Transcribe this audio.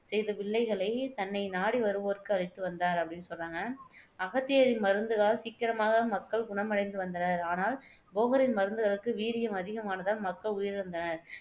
செய்த வில்லைகளை தன்னை நாடி வருவோர்க்கு அளித்து வந்தார் அப்படின்னு சொல்றாங்க அகத்தியரின் மருந்துகளால் சீக்கிரமாக மக்கள் குணமடைந்து வந்தனர். ஆனால் போகரின் மருந்துகளுக்கு வீரியம் அதிகமானதால் மக்கள் உயிரிழந்தனர்.